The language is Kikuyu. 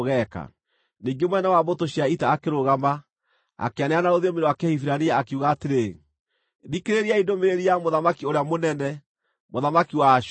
Ningĩ mũnene wa mbũtũ cia ita akĩrũgama, akĩanĩrĩra na rũthiomi rwa Kĩhibirania, akiuga atĩrĩ: “Thikĩrĩriai ndũmĩrĩri ya mũthamaki ũrĩa mũnene, mũthamaki wa Ashuri!